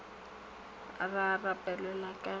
sa rapelwa ka ge a